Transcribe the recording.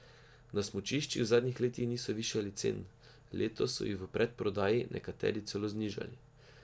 Na smučiščih v zadnjih letih niso višali cen, letos so jih v predprodaji nekateri celo znižali.